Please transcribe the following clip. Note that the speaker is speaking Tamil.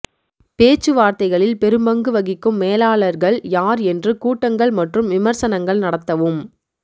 பேச்சுவார்த்தைகளில் பெரும்பங்கு வகிக்கும் மேலாளர்கள் யார் என்று கூட்டங்கள் மற்றும் விமர்சனங்கள் நடத்தவும்